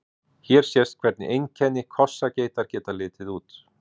Hér sést hvernig einkenni kossageitar geta litið út.